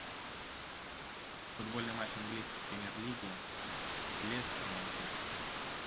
футбольный матч английской премьер лиги лестер манчестер